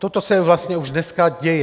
Toto se vlastně už dneska děje.